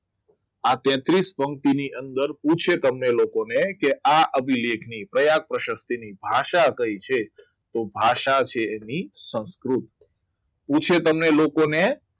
આ તેત્રિસ પંક્તિની અંદર પૂછે તમને લોકોને કે આ અભિલેખ કયા પ્રયાગ પ્રશક્તિ કિસી ની ભાષા કઈ છે તો ભાષા છે એની સંસ્કૃત પૂછે તમને લોકોને